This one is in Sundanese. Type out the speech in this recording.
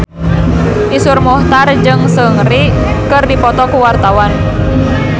Iszur Muchtar jeung Seungri keur dipoto ku wartawan